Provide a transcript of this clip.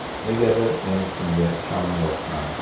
Negadir, men shunga ishonyapman.